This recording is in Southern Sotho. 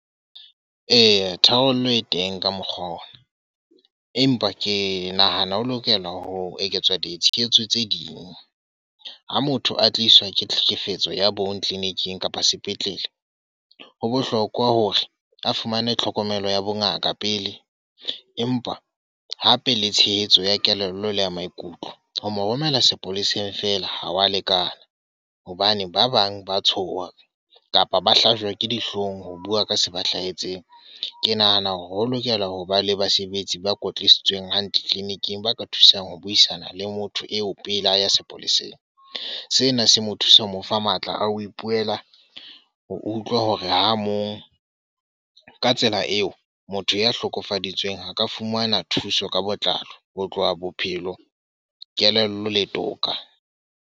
Eya, tharollo e teng ka mokgwa ona. Empa ke nahana ho lokela ho eketswa ditshehetso tse ding. Ha motho a tliswa ke tlhekefetso ya bong clinic-ing kapa sepetlele. Ho bohlokwa hore a fumane tlhokomelo ya bongaka pele. Empa hape le tshehetso ya kelello le ya maikutlo. Ho mo romela sepoleseng fela ha wa lekana. Hobane ba bang ba tshoha kapa ba hlajwe ke dihloong ho bua ka se ba hlahetseng. Ke nahana hore ho lokela hoba le basebetsi ba kwetlisitsweng hantle clinic-ing, ba ka thusang ho buisana le motho eo pele a ya sepoleseng. Sena se mo thusa ho mo fa matla a ho ipuela, o utlwa hore ha mong. Ka tsela eo, motho ya hlokofale bitsweng ho ka fumana thuso ka botlalo. Ho tloha bophelo, kelello le toka.